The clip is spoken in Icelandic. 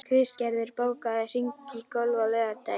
Kristgerður, bókaðu hring í golf á laugardaginn.